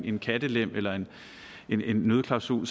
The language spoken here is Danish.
en kattelem eller en en nødklausul